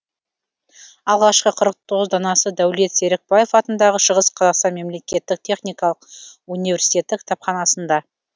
алғашқы қырық тоғыз данасы дәулет серікбаев атындағы шығыс қазақстан мемлекеттік техникалық университеті кітапханасында